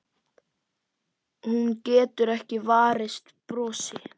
Hún getur ekki varist brosi.